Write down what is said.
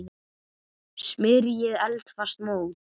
Smyrjið eldfast mót.